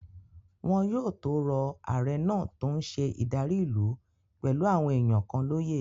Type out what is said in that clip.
Wọn yóò tó rọ ààrẹ náà tó n ṣe ìdarí ìlú pẹ̀lú àwọn èèyàn kan lóyè